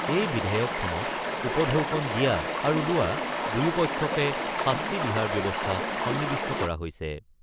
এই বিধেয়কখনত উপঢৌকন দিয়া আৰু লোৱা দুয়োপক্ষকে শাস্তি বিহাৰ ব্যৱস্থা সন্নিৱিষ্ট কৰা হৈছে।